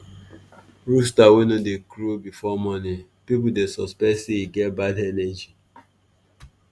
rooster wey no dey crow before morning people dey suspect say e get bad energy.